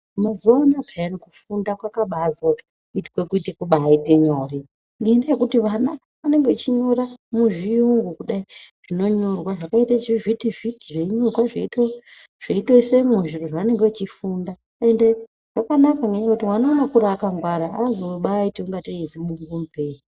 Mazuwa anaya payani kufunda kwakabazoitwe kuti kubaite nyore ngendaa yekuti ana anenge einyora muzviyungu kudai zvinonyorwa zvakaita zvivhiti vhiti zvinonyorwa zveito zveitoiswemwo zviro zvavanenge vechifunda ende zvakanaka ngenyaya yekuti mwana unokura akangwara aazobaiti ingatei zibungu mupeee.